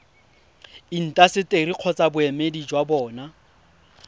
intaseteri kgotsa boemedi jwa bona